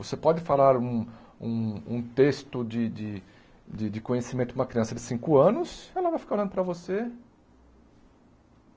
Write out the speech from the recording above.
Você pode falar um um um texto de de de de conhecimento para uma criança de cinco anos, ela vai ficar olhando para você.